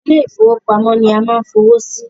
Ilé ìfọwọ́pamo ni a ma ń fowó sí.